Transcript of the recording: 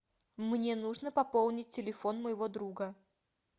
мне нужно пополнить телефон моего друга